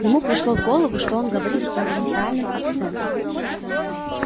ему пришло в голову что он говорит с провинциальным акцентом